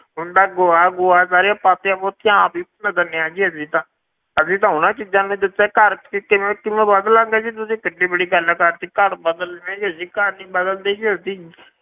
ਹੁੰਦਾ ਗੋਹਾ ਗੋਹਾ ਸਾਰੀਆਂ ਪਾਥੀਆਂ ਪੂਥੀਆਂ ਆਪ ਹੀ ਦਿੰਦੇ ਹਾਂ ਜੀ ਅਸੀਂ ਤਾਂ, ਅਸੀਂ ਤਾਂ ਉਹਨਾਂ ਚੀਜ਼ਾਂ ਨੀ ਛੱਡਿਆ ਘਰ ਅਸੀਂ ਕਿਵੇਂ ਕਿਵੇਂ ਬਦਲਾਂਗੇ ਜੀ ਤੁਸੀਂ ਕਿੱਡੀ ਵੱਡੀ ਗੱਲ ਕਰ ਦਿੱਤੀ ਘਰ ਬਦਲਣੇ ਜੀ ਅਸੀਂ ਘਰ ਨੀ ਬਦਲਦੇ ਜੀ ਅਸੀਂ,